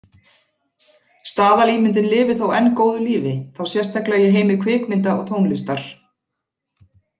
Staðalímyndin lifir þó enn góðu lífi, þá sérstaklega í heimi kvikmynda og tónlistar.